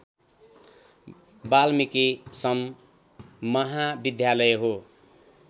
वाल्मीकी सं महाविद्यालय हो